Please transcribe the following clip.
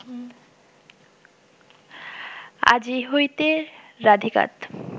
আজি হৈতেঁ রাধিকাত